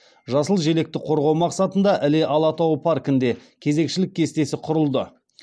жасыл желекті қорғау мақсатында іле алатауы паркінде кезекшілік кестесі құрылды